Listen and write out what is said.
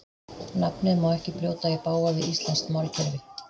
Nafnið má ekki brjóta í bág við íslenskt málkerfi.